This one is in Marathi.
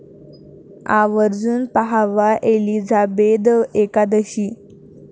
आवर्जून पाहावा 'एलिझाबेथ एकादशी'